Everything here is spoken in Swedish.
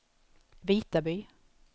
Vitaby